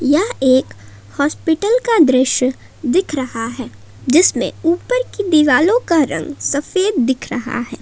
यह एक हॉस्पिटल का दृश्य दिख रहा है जिसमें ऊपर की दीवालो का रंग सफेद देख रहा है।